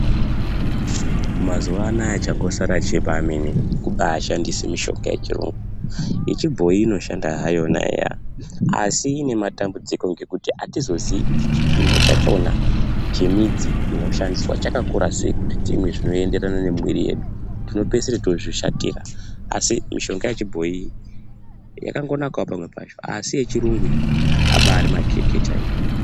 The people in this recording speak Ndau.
Mazuwanaya changosara chebamene kubashandise mishonga yechiyungu, yechibhoyi inoshanda hayona eya asi inematambudziko ngekuti atizoziii kuti chipimo chachona chinoshandiswa chemidzi chakakura sei Kuti timwe zvinoenderana nemwiri yedu tinopeisire tozvishatora asi mishonga yechibhoyi yakangonakawo pamwe pacho asi yechirungu iyi abari makeke chaiwo.